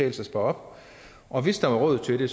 at spare op og hvis der var råd til det